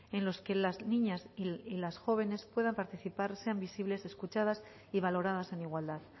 en los que las niñas y las jóvenes puedan participar sean visibles escuchadas y valoradas en igualdad